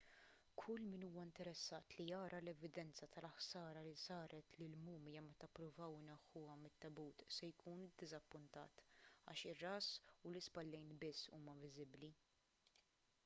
kull min huwa interessat li jara l-evidenza tal-ħsara li saret lill-mumja meta ppruvaw ineħħuha mit-tebut se jkun iddiżappuntat għax ir-ras u l-ispallejn biss huma viżibbli